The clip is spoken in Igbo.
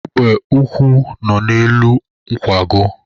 Egbe ukwu nọ n'elu nkwago.